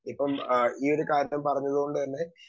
speaker 2 ഇപ്പം ഈയൊരു കാര്യം പറഞ്ഞതുകൊണ്ട് തന്നെ